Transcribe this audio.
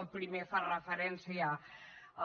el primer fa referència